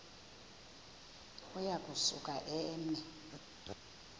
uya kusuka eme